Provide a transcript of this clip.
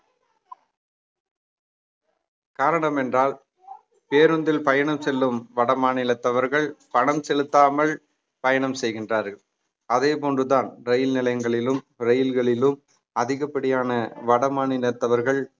காரணம் என்றால் பேருந்தில் பயணம் செல்லும் வட மாநிலத்தவர்கள் பணம் செலுத்தாமல் பயணம் செய்கின்றார்கள் அதே போன்றுதான் ரயில் நிலையங்களிலும் ரயில்களிலும் அதிகப்படியான வடமாநிலத்தவர்கள்